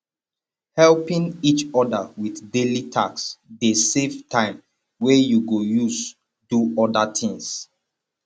helping each other with daily task de save time wey you go use do other things